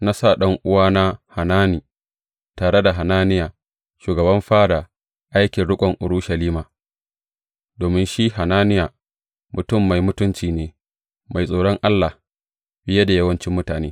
Na sa ɗan’uwana Hanani tare da Hananiya shugaban fada aikin riƙon Urushalima, domin shi Hananiya mutum mai mutunci ne, mai tsoron Allah fiye da yawancin mutane.